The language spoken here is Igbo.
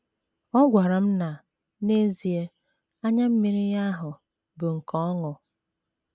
Ọ gwara m na, n’ezie, anya mmiri ya ahụ bụ nke ọṅụ.